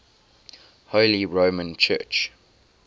holy roman church